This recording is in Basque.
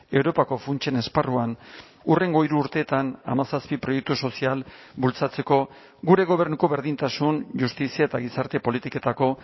europako funtsen esparruan hurrengo hiru urteetan hamazazpi proiektu sozial bultzatzeko gure gobernuko berdintasun justizia eta gizarte politiketako